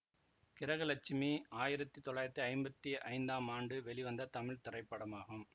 கிரக லட்சுமி ஆயிரத்தி தொள்ளாயிரத்தி ஐம்பத்தி ஐந்தாம் ஆண்டு வெளிவந்த தமிழ் திரைப்படமாகும்